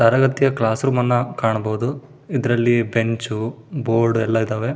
ತರಗತಿಯ class room ಅನ್ನು ಕಾಣಬಹುದು ಇದರಲ್ಲಿ ಬೆಂಚು ಬೋರ್ಡ್ ಎಲ್ಲ ಇದ್ದವ.